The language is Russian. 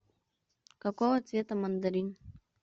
какого цвета мандарин